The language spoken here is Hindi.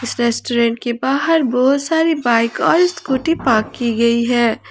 इस रेस्टोरेंट के बाहर बहुत सारी बाइक और स्कूटी पार्क की गई है।